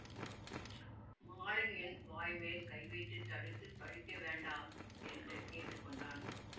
மாலன் என் வாய்மேல் கைவைத்துத் தடுத்து பழிக்க வேண்டா என்று கேட்டுக்கொண்டான்